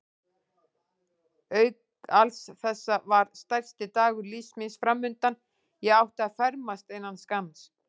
Auk alls þessa var stærsti dagur lífs míns framundan: ég átti að fermast innan skamms.